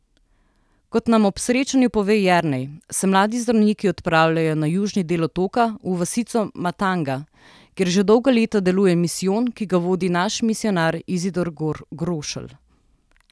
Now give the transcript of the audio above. Kot nam ob srečanju pove Jernej, se mladi zdravniki odpravljajo na južni del otoka, v vasico Matanga, kjer že dolga leta deluje misijon, ki ga vodi naš misijonar Izidor Grošelj.